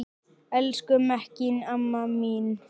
Elsku Mekkín amma mín.